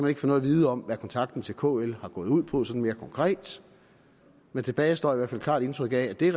ikke få noget at vide om hvad kontakten til kl har gået ud på sådan mere konkret men tilbage står i hvert fald klart et indtryk af at det